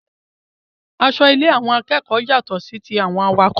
Aṣọ ile àwọn akẹ́kọ̀ọ́ yàtọ sí tí àwọn awakọ̀